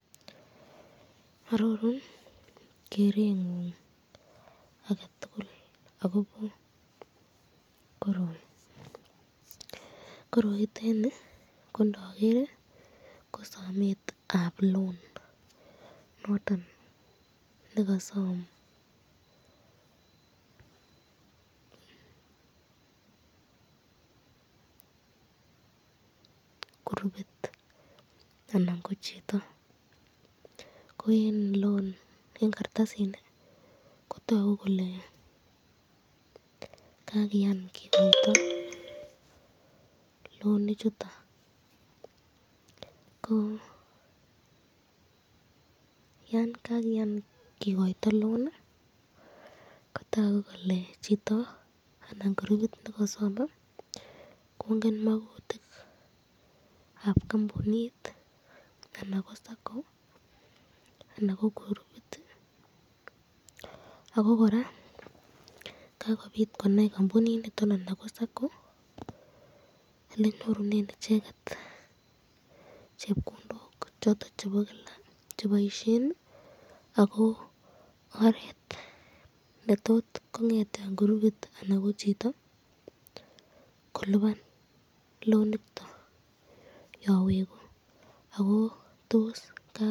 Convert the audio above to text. Ororun kerengun ake tul akobo koroi, koroiteni ko ndoger kosametab loan noton nekasam groupit anan ko chito ko eng kartasini Kotaku kele kakian kikoito loan ichuto ko yan kakian kikoito loan kotoku Keke chito anan groupit nekasame kongen makutikab kampuniniton, anan ko sacco anan ko groupit ako koraa kakobit konai kampuniniton anan ko sacco elenyorunen icheket chepkondok choton chebo Kila cheboisyen ,ako orot netot kongetyan groupit anan ko chito kolipan loan ichuton yon weku.